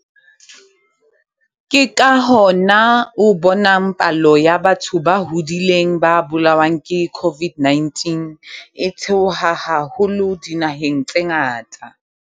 Ke ka hona o bonang palo ya batho ba hodileng ba bolawang ke COVID-19 e theoha haholo dinaheng tse ngata.